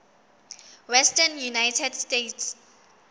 western united states